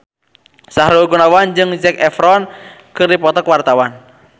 Sahrul Gunawan jeung Zac Efron keur dipoto ku wartawan